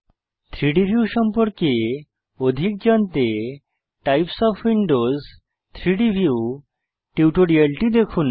3ডি ভিউ সম্পর্কে অধিক জানতে টাইপস ওএফ উইন্ডোজ 3ডি ভিউ টিউটোরিয়ালটি দেখুন